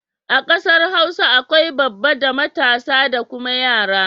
A kasar Hausa akwai babba da matasa da kuma yara.